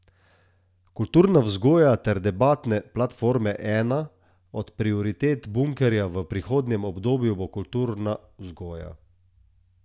Kulturna vzgoja ter debatne platforme Ena od prioritet Bunkerja v prihodnjem obdobju bo kulturna vzgoja.